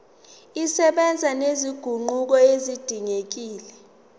zisebenza nezinguquko ezidingekile